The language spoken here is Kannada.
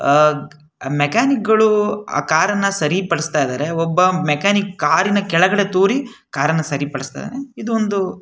ಆಹ್ಹ್ ಮೆಕ್ಯಾನಿಕ್ ಗಳು ಆ ಕಾರ್ ಅನ್ನು ಸರಿ ಪಡಿಸ್ತಾ ಇದ್ದಾರೆ ಒಬ್ಬ ಮೆಕ್ಯಾನಿಕ್ ಆ ಕಾರಿನ ಕೆಳಗಡೆ ತೂರಿ ಕಾರ್ ಅನ್ನು ಸರಿ ಪಡಿಸುತ್ತಿದ್ದಾನೆ-